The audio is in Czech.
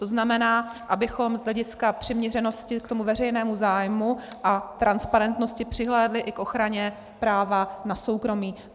To znamená, abychom z hlediska přiměřenosti k tomu veřejnému zájmu a transparentnosti přihlédli i k ochraně práva na soukromí.